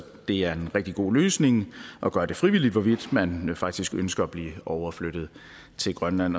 det er en rigtig god løsning at gøre det frivilligt hvorvidt man faktisk ønsker at blive overflyttet til grønland